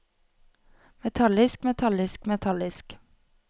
metallisk metallisk metallisk